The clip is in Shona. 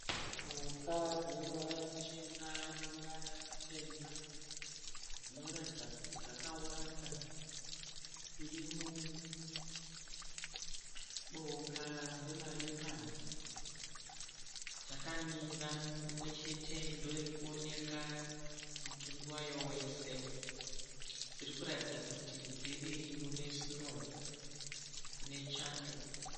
Mhuka dzine ruvara ruchena neruvara rutema dzinoratidza kuti dzakawanda dziri muboka remaleopard dzakamira, imwechete ndiyo irikuonekwa mutumbi wayo wese dzirikuratidza kuti dziri mune sinoo kune chando.